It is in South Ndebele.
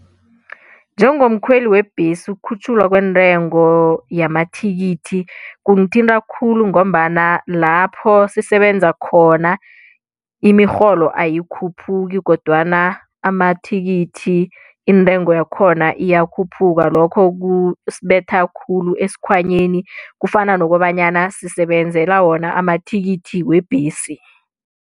Njengomkhweli webhesi ukukhutjhulwa kwentengo yamathikithi kungithinta khulu ngombana lapho sisebenza khona imirholo ayikhuphuki kodwana amathikithi intengo yakhona iyakhuphuka lokho kusibetha khulu esikhwanyeni kufana nokobanyana sisebenzela wona amathikithi webhesi.